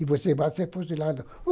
E você vai ser fuzilado.